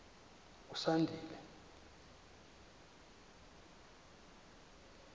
usandile